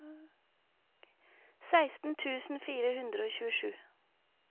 seksten tusen fire hundre og tjuesju